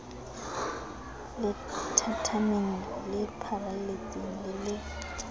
lethathameng le pharaletseng le le